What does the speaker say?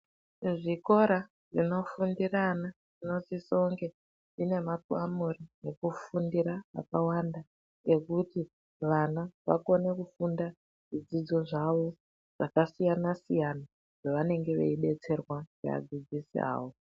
Zvikora zvinofundira ana zvinosise kunge zvine nakamura ekufundira mwakawanda ekuti vana vakone kufunda zvidzidzo zvavo zvakasiyana siyana zvavanenge veidetserwa kuvadzidzisawo.